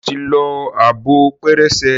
ṣe o tí ló Abọ́ pẹrẹsẹ?